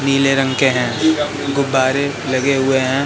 पीले रंग के हैं गुब्बारे लगे हुए हैं।